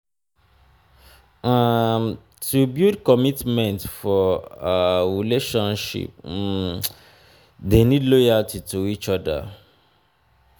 um to build commitment for um relationship um de need loyalty to each other